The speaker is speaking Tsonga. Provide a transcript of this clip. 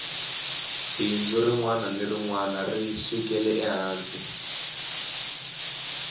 bindzu rinwana ni rinwana ri sukela ehansi